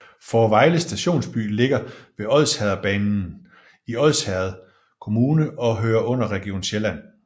Fårevejle Stationsby ligger ved Odsherredsbanen i Odsherred Kommune og hører under Region Sjælland